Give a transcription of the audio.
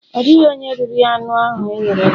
Ọ dịghị onye riri anụ ahụ e ghere eghe.